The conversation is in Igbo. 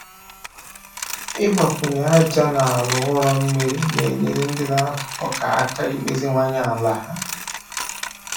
Ịgbakwunye aja na ala ụrọ mmiri na-enyere ndị na-akụ ọka aka imeziwanye ala ha.